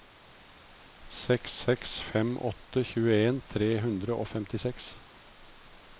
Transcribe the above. seks seks fem åtte tjueen tre hundre og femtiseks